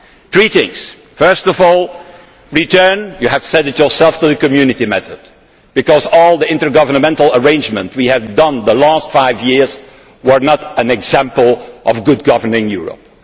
Three things first of all, return you have said it yourself to the Community method, because all the intergovernmental arrangements we have made in the last five years were not an example of good governance for Europe.